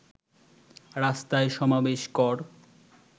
রাস্তায় সমাবেশ কর